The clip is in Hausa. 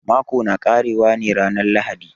Mako na ƙare wa ne ranan lahadi.